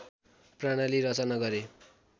प्रणाली रचना गरे